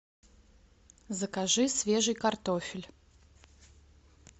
закажи свежий картофель